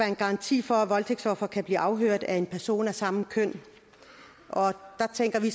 en garanti for at voldtægtsofre kan blive afhørt af en person af samme køn der tænker vi